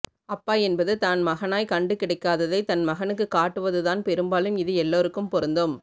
அப்பா என்பது தான் மகனாய் கண்டு கிடைக்காததை தன் மகனுக்கு காட்டுவது தான் பெரும்பாலும் இது எல்லாருக்கும் பொருந்தும்